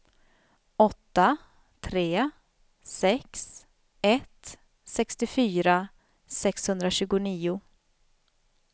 åtta tre sex ett sextiofyra sexhundratjugonio